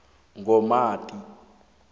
komati